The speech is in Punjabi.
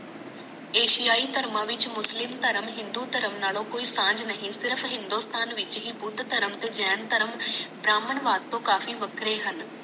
ਏਐੱਸਆਈ ਧਰਮਾਂ ਵਿਚ ਮੁਸਲਿਮ ਧਰਮ ਹਿੰਦੂ ਧਰਮ ਨਾਲੋਂ ਕੋਈ ਸਾਜ ਨਹੀਂ ਸਿਰਫ ਹਿੰਦੁਸਤਾਨ ਵਿਚ ਹੀ ਬੁੱਧ ਧਰਮ ਤੇ ਜਾਨ ਧਰਮ ਬ੍ਰਾਹਮਣ ਵੱਸ ਤੋਂ ਕਾਫੀ ਵੱਖਰੇ ਹਨ